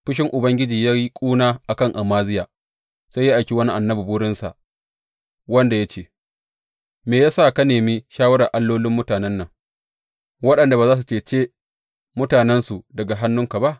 Fushin Ubangiji ya yi ƙuna a kan Amaziya, sai ya aiki wani annabi wurinsa wanda ya ce, Me ya sa ka nemi shawarar allolin mutanen nan, waɗanda ba za su cece mutanensu daga hannunka ba?